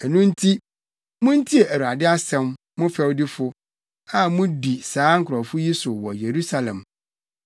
Ɛno nti, muntie Awurade asɛm, mo fɛwdifo a mudi saa nkurɔfo yi so wɔ Yerusalem.